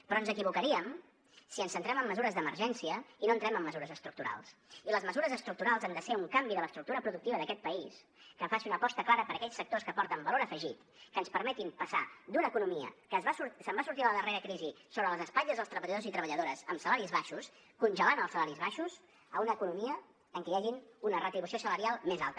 però ens equivocaríem si ens centrem en mesures d’emergència i no entrem en mesures estructurals i les mesures estructurals han de ser un canvi de l’estructura productiva d’aquest país que faci una aposta clara per aquells sectors que aporten valor afegit que ens permetin passar d’una economia que se’n va sortir a la darrera crisi sobre les espatlles dels treballadors i treballadores amb salaris baixos congelant els salaris baixos a una economia en què hi hagi una retribució salarial més alta